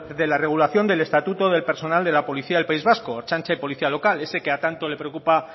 de la regulación del estatuto del personal de la policía del país vasco ertzaintza y policía local ese que tanto le preocupa